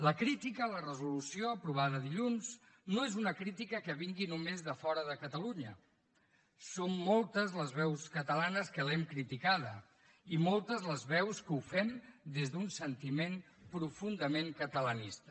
la crítica a la resolució aprovada dilluns no és una crítica que vingui només de fora de catalunya som moltes les veus catalanes que l’hem criticada i moltes les veus que ho fem des d’un sentiment profundament catalanista